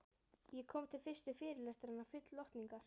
Ég kom til fyrstu fyrirlestranna full lotningar.